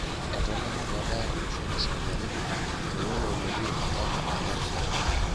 Etaluama peebaya olosho le saudi Arabia meyioloi enetii ompaka ena rishata.